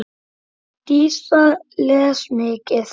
Dísa les mikið.